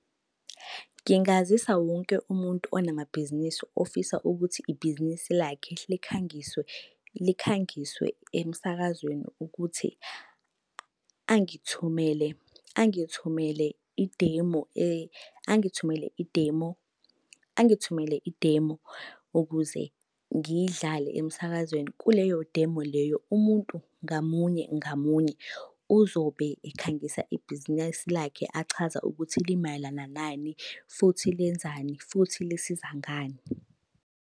Ngingazisa wonke umuntu onamabhizinisi ofisa ukuthi ibhizinisi lakhe likhangiswe, likhangiswe emsakazweni ukuthi angithumele, angithumele i-demo , angithumele i-demo, angithumele i-demo, ukuze ngiy'dlale emsakazweni. Kuleyo demo leyo, umuntu ngamunye ngamunye uzobe ekhangisa ibhizinesi lakhe achaza ukuthi limayelana nani, futhi lenzani, futhi lisiza ngani.